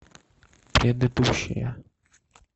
предыдущая